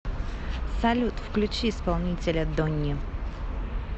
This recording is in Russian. салют включи исполнителя дони